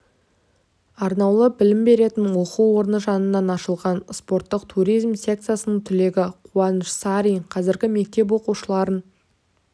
арнаулы білім беретін оқу орны жанынан ашылған спорттық туризм секциясының түлегі қуаныш сарин қазір мектеп оқушыларын